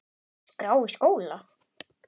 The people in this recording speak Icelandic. skrá í skóla?